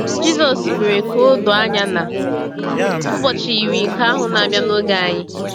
Jịsọs mere ka o doo anya na “ụbọchị” yiri nke ahụ na-abịa n’oge anyị.